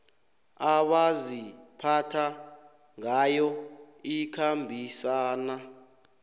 abaziphatha ngayo ikhambisana